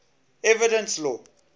evidence law